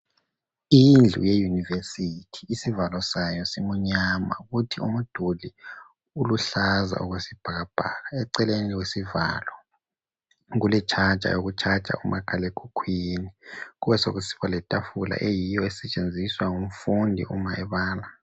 Indlu yeyunivesithi izivalo sayo simnyama kuthi umduli oluhlaza okwesibhakabhaka eceleni kwesivalo kule charger yokucharger umakhalekhukhwini kubesekusiba letafula eyiyo esetshenziswa ngumfundi Uma ebala.